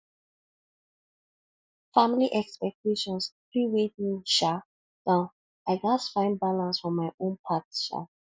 family expectations fit weigh me um down i gats find balance for my own path um